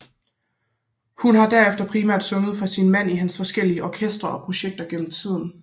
Hun har derefter primært sunget for sin mand i hans forskellige orkestre og projekter igennem tiden